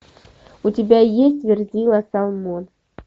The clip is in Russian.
у тебя есть верзила салмон